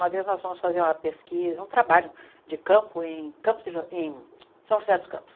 Uma vez nós fomos fazer uma pesquisa, um trabalho de campo em Campos de em São José dos Campos.